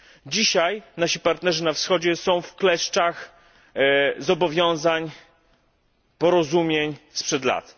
Dzisiaj nasi partnerzy na Wschodzie znajdują się wkleszczach zobowiązań i porozumień sprzed lat.